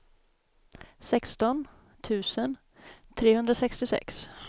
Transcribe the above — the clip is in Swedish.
sexton tusen trehundrasextiosex